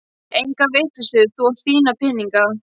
Enga vitleysu, þú átt þína peninga